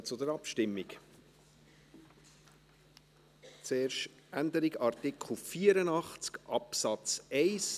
Wir kommen zur Abstimmung, zuerst die Änderung des Artikels 84 Absatz 1.